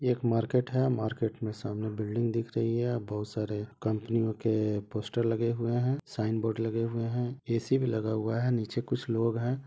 Market है market मे सामने बिल्डिंग दिख रही है बहोत सारे कॉम्पनीयो के पोस्टर लगे हुए है शाइन बोर्ड लगे हुए है एसी भी लगा हुआ है नीचे कुछ लोग हैं।